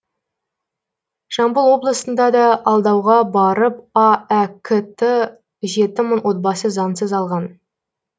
жамбыл облысында да алдауға барып аәк ті жеті мың отбасы заңсыз алған